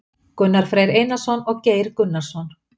Gunnar Freyr Einarsson og Geir Gunnarsson.